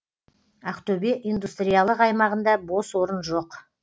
ақтөбе индустриялық аймағында бос орын жоқ